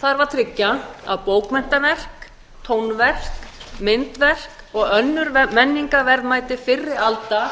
þarf að tryggja að bókmenntaverk tónverk myndverk og önnur menningarverðmæti fyrri alda